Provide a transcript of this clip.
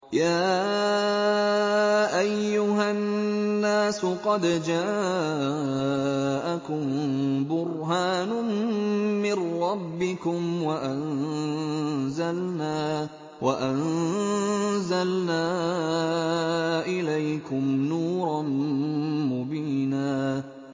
يَا أَيُّهَا النَّاسُ قَدْ جَاءَكُم بُرْهَانٌ مِّن رَّبِّكُمْ وَأَنزَلْنَا إِلَيْكُمْ نُورًا مُّبِينًا